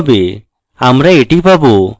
আমরা এটি পাবো